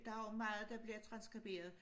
Der er jo meget der bliver transskriberet